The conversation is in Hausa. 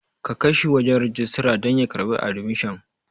Kakaishi shi wajan rijistara dan ya karɓi admission